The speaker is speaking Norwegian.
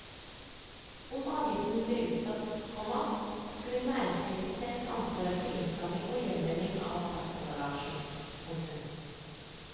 Om avgiften ble utsatt, komma skulle næringslivet selv ta ansvar for innsamling og gjenvinning av plastemballasjen. punktum